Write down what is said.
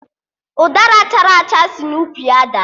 Ụdara chara acha si n'ukwu ya daa